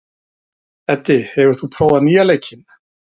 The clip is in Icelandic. Eddi, hefur þú prófað nýja leikinn?